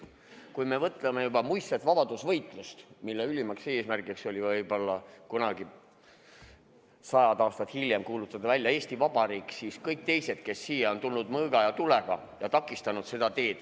Kui me mõtleme juba muistsele vabadusvõitlusele, mille ülim eesmärk oli võib-olla kunagi sajad aastad hiljem kuulutada välja Eesti Vabariik, siis kõik teised, kes on siia tulnud mõõga ja tulega, on seda teed takistanud.